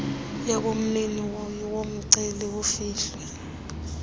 yobumnini yomceli kufihlwe